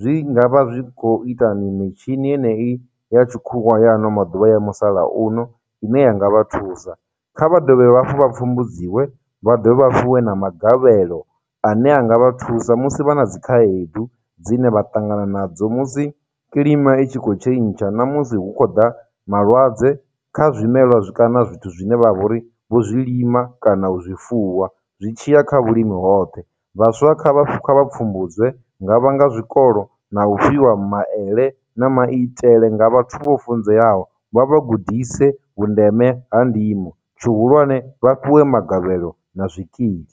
zwi nga vha zwi khou ita mitshini enei ya tshikhuwa ya ano maḓuvha ya musalauno, ine yanga vha thusa. Kha vha dovhe hafhu vha pfhumbudziwe, vha ḓo vha fhiwe na magavhelo ane anga vha thusa musi vha na dzikhaedu dzine vha ṱangana nadzo musi kilima i tshi khou tshentsha na musi hu khou ḓa malwadze kha zwimelwa kana zwithu zwine vha vha uri vho zwi lima kana u zwifuwa zwi tshiya kha vhulimi hoṱhe. Vhaswa kha vha kha vha pfumbudzwe. hu nga vha nga zwikolo, na u fhiwa maele na maitele nga vhathu vho funzeaho, vha vha gudise vhundeme ha ndimo, tshihulwane vha fhiwe magavhelo na zwikili.